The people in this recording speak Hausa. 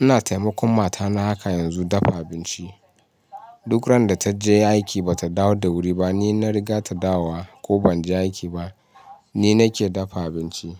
Ina taimakon matana haka yanzu dafa abinci. Duk ran da ta je aiki ba ta dawo da wuri ba, ni na riga ta dawowa ko ban je aiki ba ni nake dafa abinci.